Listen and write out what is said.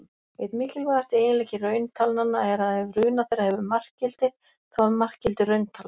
Einn mikilvægasti eiginleiki rauntalnanna er að ef runa þeirra hefur markgildi, þá er markgildið rauntala.